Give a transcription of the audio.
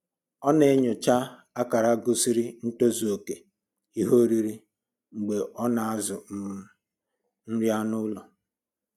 Ọ na-enyocha akara gosiri ntozuoke ihe oriri mgbe ọ na-azụ um nri anụ ụlọ